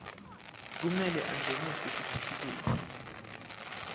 kumele angenise sitifiketi